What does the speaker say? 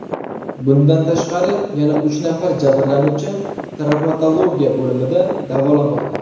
Bundan tashqari, yana uch nafar jabrlanuvchi travmatologiya bo‘limida davolanmoqda.